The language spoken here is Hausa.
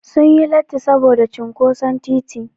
Sun yi latti saboda cinƙoson titi.